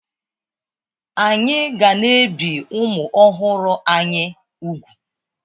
Anyị ga na-ebi ụmụ ọhụrụ anyị úgwù.